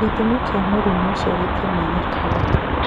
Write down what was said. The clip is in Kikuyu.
Gĩtũmi kĩa mũrimũ ũcio gĩtimenyekaga.